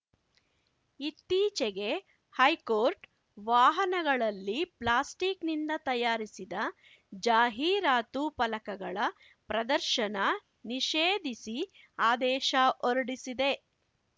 ಇತ್ತೀಚೆಗೆ ಹೈಕೋರ್ಟ್‌ ವಾಹನಗಳಲ್ಲಿ ಪ್ಲಾಸ್ಟಿಕ್‌ನಿಂದ ತಯಾರಿಸಿದ ಜಾಹೀರಾತು ಫಲಕಗಳ ಪ್ರದರ್ಶನ ನಿಷೇಧಿಸಿ ಆದೇಶ ಹೊರಡಿಸಿದೆ